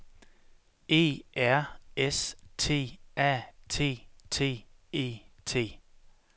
E R S T A T T E T